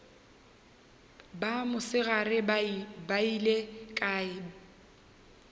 ba mosegare ba beile kae